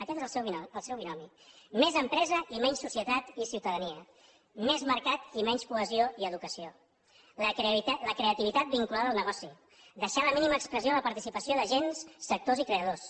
aquest és el seu binomi més empresa i menys societat i ciutadania més mercat i menys cohesió i educació la creativitat vinculada al negoci deixar en la mínima expressió la participació d’agents sectors i creadors